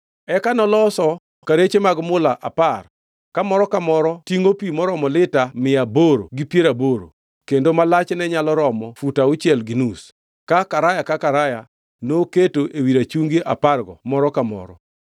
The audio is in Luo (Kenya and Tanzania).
Eka noloso kareche mag mula apar ka moro ka moro tingʼo pi maromo lita mia aboro gi piero aboro, kendo ma lachne nyalo romo fut auchiel gi nus, ka karaya ka karaya noketo ewi rachungi apargo moro ka moro.